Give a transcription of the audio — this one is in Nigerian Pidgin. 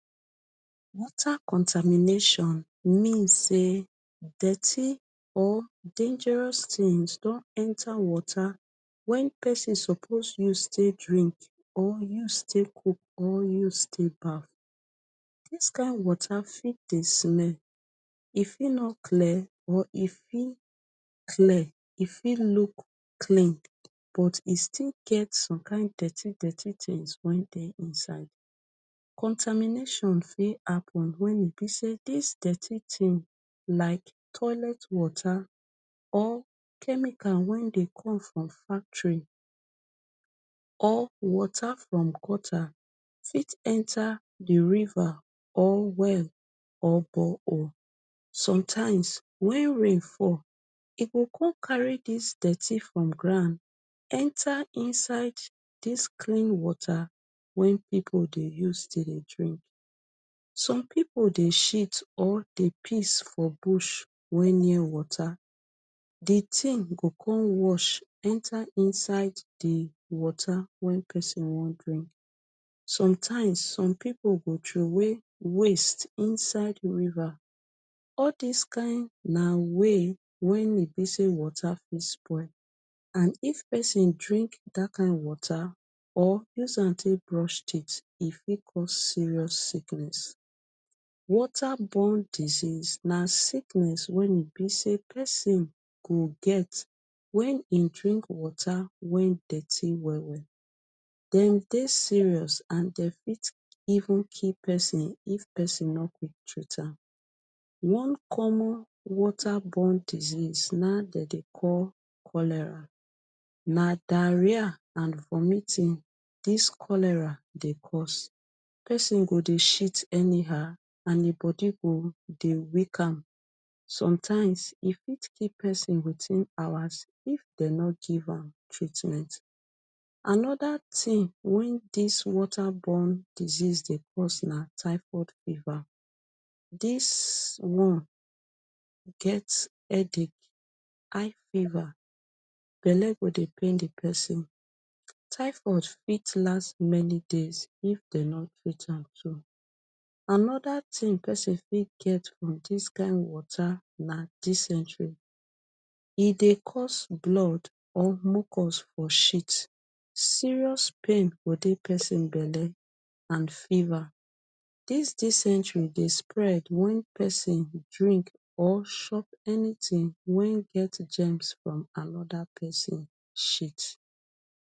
water contamination mean say dirty or dangerous tins don enta water wen pesin suppose you take drink or use take cook or use take baff dis kin water fit dey smell e fit no clear or e fit clear e fit look clean but e still get some kind dirty dirty tins wen dey inside contamination fit happen wen e be say dis dirty tin like toilet water or chemical wen dey come from factory or water from gutter fit enter di river or well or bore hole sometimes wen rain fall e go come carry dis dirty from ground enta dis clean water way wen people dey use take dey drink some people dey shit or dey piss for bush wen near water the tin go come wash enta inside di water wen pesin wan drink sometimes some people go troway waste inside river all this kind na way way be say water fit spoil and if persond drink that kind water or use am take brush teeth e fit cause serious sickness water born disease na sickness wen be say pesin go get wen him drink water wen dirty well well dem dey serious and fit even kill pesin if pesin no quick treat am one common water born disease na dey call cholera na diarrhea and vomiting dis cholera dey cause pesin go dey shit anyhow and him body go dey weak am sometimes e fit kill pesin wetin hours if dem no give am treatment anoda tin wen dis water born disease dey cause na thyroid fever this one get headache high fever belle go dey pain di pesin thyroid fit last many days if dem no treat am too anoda pesin fit get from dis kind water na discentry e dey cause blood or mucus for shit serious pain go dey pesin belle and fever dis discentry dey spread wen pesin drink or shop any tin wen get gems from anoda pesin shit